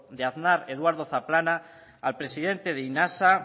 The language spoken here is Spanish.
de aznar eduardo zaplana al presidente de inassa